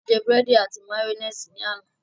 A jẹ búrẹ́dì àti màyónésì ní àná.